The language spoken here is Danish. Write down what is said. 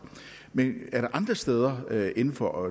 men er der andre steder inden for